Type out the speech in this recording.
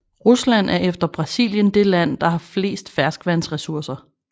Rusland er efter Brasilien det land der har flest ferskvandressourcer